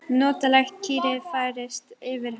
Notaleg kyrrð færist yfir hann.